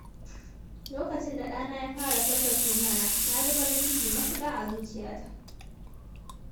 Lokacin da ɗana ya fara furta sunana, na ji farin ciki matuƙa a zuciyata.